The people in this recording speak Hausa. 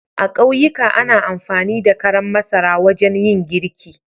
A ƙauyika ana amfani da karan masara wajen yin girki.